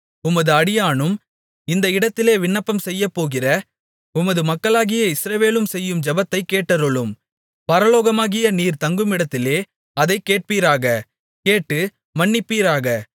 உமது அடியானும் இந்த இடத்திலே விண்ணப்பம் செய்யப்போகிற உமது மக்களாகிய இஸ்ரவேலும் செய்யும் ஜெபத்தைக் கேட்டருளும் பரலோகமாகிய நீர் தங்குமிடத்திலே அதை கேட்பீராக கேட்டு மன்னிப்பீராக